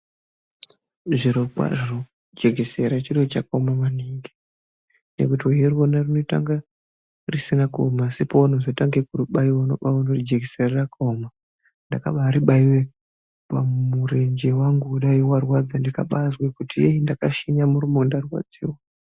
Zvirokwazvo jekisera chiro chakaoma maningi ,nekuti uchiri ona rinoita kunga risina kuona asi oaunozotange kuribaiwa ndopanoona kuti jekisera rakaoma . Ndambarivaiwe pamurenje wangu kudai warwadza ndikabazwe kuti yei ndakashinya muromo ndarwadziwa .